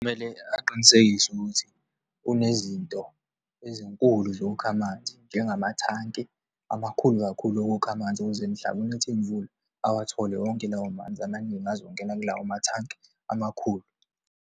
Kumele aqinisekise ukuthi kunezinto ezinkulu zokukha amanzi, njengemathanki amakhulu kakhulu okukha amanzi, ukuze mhla kunetha imvula awathole wonke lawo manzi amaningi azongena kulawo mathanki amakhulu.